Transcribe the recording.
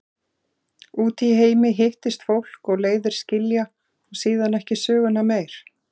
Úti í heimi hittist fólk og leiðir skilja og síðan ekki söguna meir.